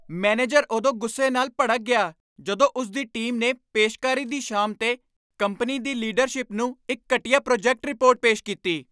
Manager ਉਦੋਂ ਗੁੱਸੇ ਨਾਲ ਭੜਕ ਗਿਆ ਜਦੋਂ ਉਸ ਦੀ ਟੀਮ ਨੇ ਪੇਸ਼ਕਾਰੀ ਦੀ ਸ਼ਾਮ 'ਤੇ ਕੰਪਨੀ ਦੀ ਲੀਡਰਸ਼ਿਪ ਨੂੰ ਇੱਕ ਘਟੀਆ ਪ੍ਰੋਜੈਕਟ ਰਿਪੋਰਟ ਪੇਸ਼ ਕੀਤੀ।